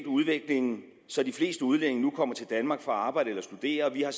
udviklingen så de fleste udlændinge nu kommer til danmark for at arbejde eller studere og vi har